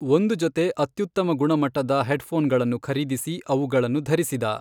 ಒಂದು ಜೊತೆ ಅತ್ಯುತ್ತಮ ಗುಣಮಟ್ಟದ ಹೆಡ್ಫೋನ್ಗಳನ್ನು ಖರೀದಿಸಿ, ಅವುಗಳನ್ನು ಧರಿಸಿದ.